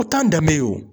O t'an danbe ye o